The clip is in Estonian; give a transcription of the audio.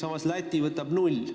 Samas Läti võtab vastu null inimest.